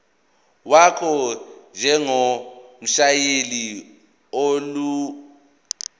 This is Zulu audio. wakho njengomshayeli onelungelo